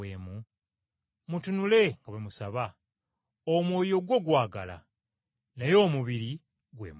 Mutunule nga bwe musaba. Omwoyo gwo gwagala, naye omubiri gwe munafu!”